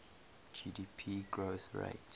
gdp growth rate